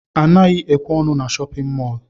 Anaghị ekwe ọnụ n' shóppin mol.